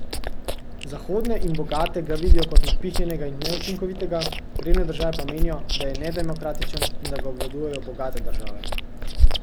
Zahodne in bogate ga vidijo kot napihnjenega in neučinkovitega, revne države pa menijo, da je nedemokratičen in da ga obvladujejo bogate države.